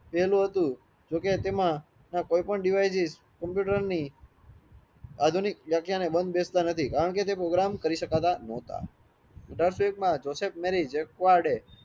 પેલું હતું જોકે તેમાં આ કોઈ પણ ડીવીસીએસ કોમ્પ્યુટરની આધુનિક વાખ્યા ને દેતા નથી કારણ કે તે program કરી શકતા ન્હોતા જોસેફ મેરી જેકુરદે